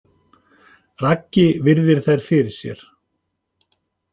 Raggi virðir þær fyrir sér.